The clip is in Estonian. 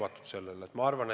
Ma olen sellele täiesti avatud.